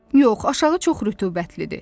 Yox, aşağı çox rütubətlidir.